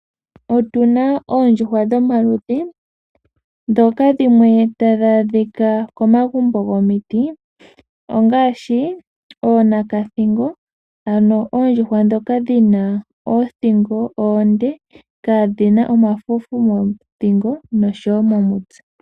Otu na oondjuhwa dhomaludhi ndhoka dhimwe tadhi adhika komagumbo gomiti ongaashi oonakathingo, ano oondjuhwa ndhoka dhi na oothingo oonde kaadhi na omafufu mothingo noshowo komutse.